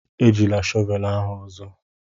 Ejila shọvelu ahu ozo.